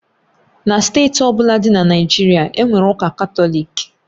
Na steeti ọ bụla dị na Naịjirịa, e nwere ụka Katọlik